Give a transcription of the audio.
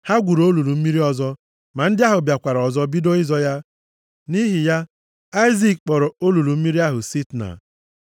Ha gwuru olulu mmiri ọzọ, ma ndị ahụ bịakwara ọzọ bido ịzọ ya. Nʼihi ya Aịzik kpọrọ olulu mmiri ahụ Sitna.